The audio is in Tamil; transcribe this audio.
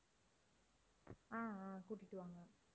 ஆஹ் ஆஹ் கூட்டிட்டு வாங்க